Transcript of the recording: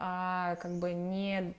а как бы не